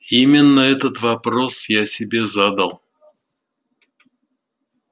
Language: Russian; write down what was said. именно этот вопрос я себе задал